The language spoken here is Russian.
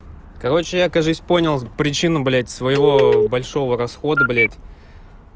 короче я кажись понял причину блять своего большого расхода блять